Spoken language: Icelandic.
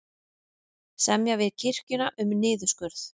Semja við kirkjuna um niðurskurð